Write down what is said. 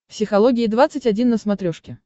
психология двадцать один на смотрешке